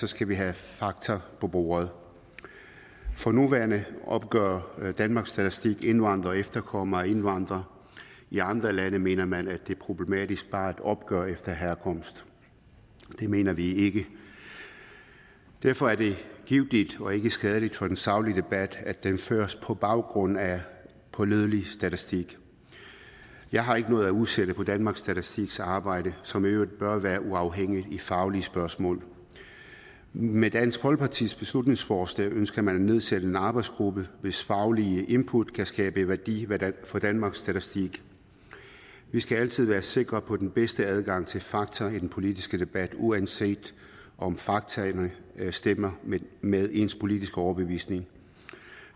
skal vi have fakta på bordet for nuværende opgør danmarks statistik indvandrere og efterkommere af indvandrere i andre lande mener man at det er problematisk bare at opgøre efter herkomst det mener vi ikke derfor er det givtigt og ikke skadeligt for den saglige debat at den føres på baggrund af pålidelig statistik jeg har ikke noget at udsætte på danmarks statistiks arbejde som i øvrigt bør være uafhængigt i faglige spørgsmål med dansk folkepartis beslutningsforslag ønsker man at nedsætte en arbejdsgruppe hvis faglige input kan skabe værdi for danmarks statistik vi skal altid være sikre på den bedste adgang til fakta i den politiske debat uanset om faktaene stemmer med ens politiske overbevisning